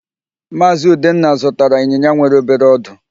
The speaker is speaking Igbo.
Maazị Udenna zụtara ịnyịnya nwere obere ọdụ.